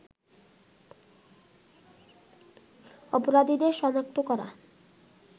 অপরাধীদের শনাক্ত করা